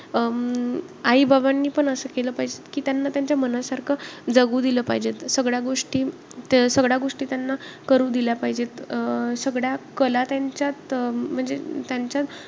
अं आई-बाबांनी पण असं केलं पाहिजे की, त्यांना त्यांच्या मनासारखं जगू दिलं पाहिजे. सगळ्या गोष्टी~ सगळ्या गोष्टी त्यांना करू दिल्या पाहिजेत. अं सगळ्या कला त्यांच्यात म्हणजे त्यांच्यात,